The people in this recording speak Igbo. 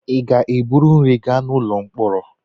Ị ga-ebu nri gaa n'ụlọ mkpọrọ.